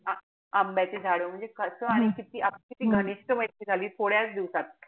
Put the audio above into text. आंब्याची झाड म्हणजे कस आणि किती किती घनिष्ट मैत्री झाली थोड्याच दिवसात.